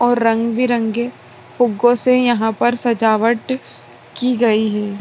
और रंग-बिरंगे